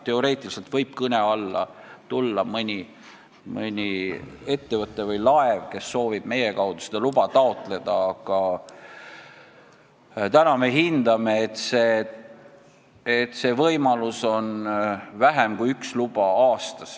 Teoreetiliselt võib kõne alla tulla mõni ettevõte või laev, kes soovib meie kaudu seda luba taotleda, aga praegu me hindame, et see võimalus on väiksem kui üks luba aastas.